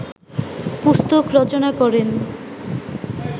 পুস্তক রচনা করেন